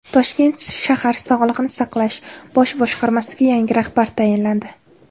Toshkent shahar Sog‘liqni saqlash bosh boshqarmasiga yangi rahbar tayinlandi.